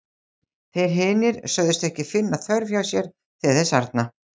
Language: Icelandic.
Þeir hinir sögðust ekki finna þörf hjá sér til þess arna.